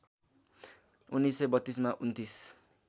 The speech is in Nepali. १९३२ मा २९